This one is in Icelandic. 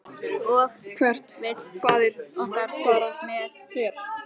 Og hvert vill faðir okkar fara með her?